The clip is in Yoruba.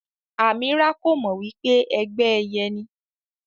Amirah ko mọ wípé ẹgbẹ ẹyẹ ni.